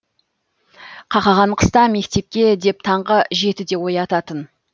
қақаған қыста мектепке деп таңғы жетіде оятатын